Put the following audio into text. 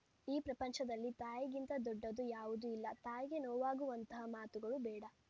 ಈ ಪ್ರಪಂಚದಲ್ಲಿ ತಾಯಿಗಿಂತ ದೊಡ್ಡದು ಯಾವುದೂ ಇಲ್ಲ ತಾಯಿಗೆ ನೋವಾಗುವಂತಹ ಮಾತುಗಳು ಬೇಡ